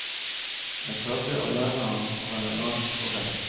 Jeg prøvde å lære ham å være rank og rett.